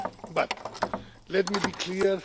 But let me be clear.